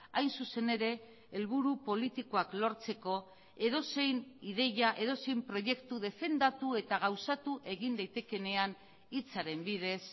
hain zuzen ere helburu politikoak lortzeko edozein ideia edozein proiektu defendatu eta gauzatu egin daitekeenean hitzaren bidez